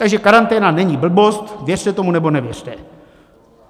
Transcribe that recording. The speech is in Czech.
Takže karanténa není blbost, věřte tomu, nebo nevěřte.